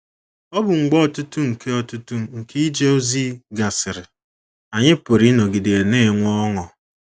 Ọbụ mgbe ọtụtụ nke ọtụtụ nke ije ozi gasịrị, anyị pụrụ ịnọgide na - enwe ọṅụ